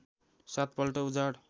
सात पल्ट उजाड